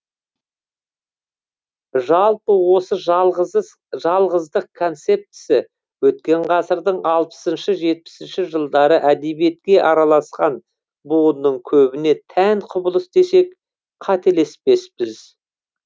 жалпы осы жалғыздық концептісі өткен ғасырдың алпысыншы жетпісінші жылдары әдебиетке араласқан буынның көбіне тән құбылыс десек қателеспеспіз